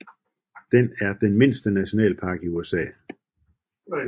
Den er den mindste nationalpark i USA